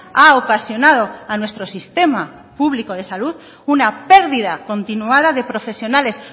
ha ocasionado a nuestro sistema público de salud una perdida continuada de profesionales